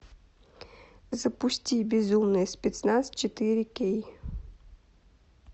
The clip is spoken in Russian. запусти безумный спецназ четыре кей